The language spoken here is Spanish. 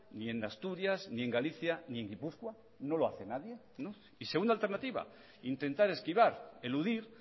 ni en asturias ni en galicia ni en gipuzkoa no lo hace nadie y segunda alternativa intentar esquivar eludir